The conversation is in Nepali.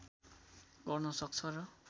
गर्न सक्छ र